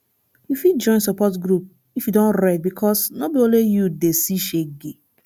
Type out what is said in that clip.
yu fit join support group if e don red bikos no be only yu dey see shege